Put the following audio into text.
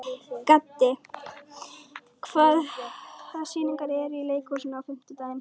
Gaddi, hvaða sýningar eru í leikhúsinu á fimmtudaginn?